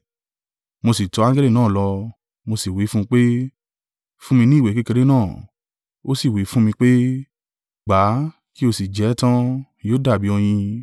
Mo sì tọ angẹli náà lọ, mo sì wí fún pé, “Fún mi ní ìwé kékeré náà.” Ó sì wí fún mi pé, “Gbà kí o sì jẹ ẹ́ tan: yóò dàbí oyin.”